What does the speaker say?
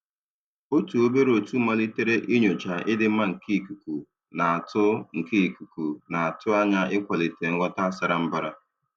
Otu obere otu malitere inyocha ịdị mma nke ikuku, na-atụ nke ikuku, na-atụ anya ịkwalite nghọta sara mbara.